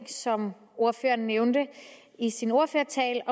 som ordføreren nævnte i sin ordførertale